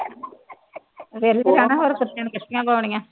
ਫਿਰੀ ਤਾਂ ਜਾਣਾ ਹੁਣ ਕੁੱਤਿਆਂ ਨੂੰ ਕੱਛੀਆਂ ਪਾਉਣੀਆਂ